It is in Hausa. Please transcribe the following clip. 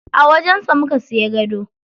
A wajen sa muka siya gado.